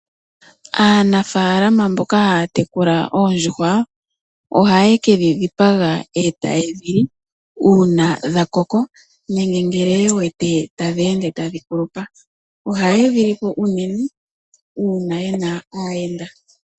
Aanafalama mboka haya tekula oondjuhwa ohaye kedhi dhipaga e taye dhi li uuna dha koko nenge ye wete tadhi ende tadhi kulupa ohaye dhi lipo unene uuna ye na aayenda.